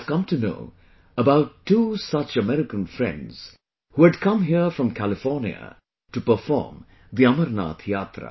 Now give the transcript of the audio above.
I have come to know about two such American friends who had come here from California to perform the Amarnath Yatra